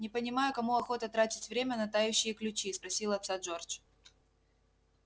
не понимаю кому охота тратить время на тающие ключи спросил отца джордж